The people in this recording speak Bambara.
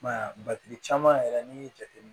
I m'a ye caman yɛrɛ n'i y'i jateminɛ